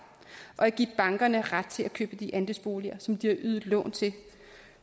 og at give bankerne ret til at købe de andelsboliger som de har ydet lån til